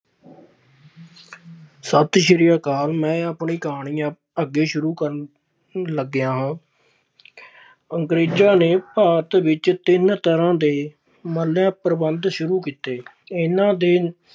ਸਤਿ ਸ੍ਰੀ ਅਕਾਲ ਮੈਂ ਆਪਣੀ ਕਹਾਣੀ ਆ ਅੱਗੇ ਸ਼ੁਰੂ ਕਰਨ ਲੱਗਿਆ ਹਾਂ ਅੰਗਰੇਜ਼ਾਂ ਨੇ ਭਾਰਤ ਵਿੱਚ ਤਿੰਨ ਤਰ੍ਹਾਂ ਦੇ ਪ੍ਰਬੰਧ ਸ਼ੁਰੂ ਕੀਤੇ ਇਹਨਾਂ ਦੇ